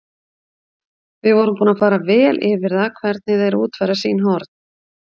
Við vorum búnir að fara vel yfir það, hvernig þeir útfæra sín horn.